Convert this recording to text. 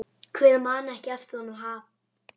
Hver man ekki eftir honum?